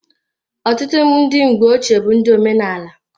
Ọtụtụ ndị mgbe ochee bụ ndị omenala.